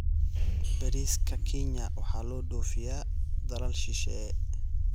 Bariiska Kenya waxaa loo dhoofiyaa dalal shisheeye.